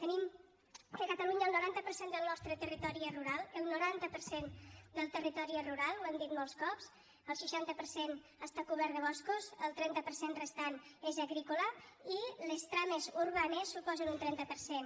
tenim que a catalunya el noranta per cent del nostre territori és rural el noranta per cent del territori és rural ho hem dit molts cops el seixanta per cent està cobert de boscos el trenta per cent restant és agrícola i les trames urbanes suposen un trenta per cent